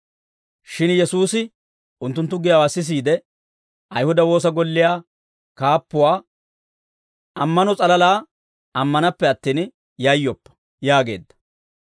Shin Yesuusi unttunttu giyaawaa sisiide, Ayihuda woosa golliyaa kaappuwaa, «Ammano s'alalaa ammanappe attin, yayyoppa» yaageedda.